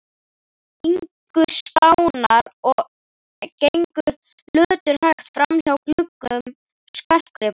ingu Spánar og gengu löturhægt framhjá gluggum skartgripa